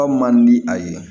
man di a ye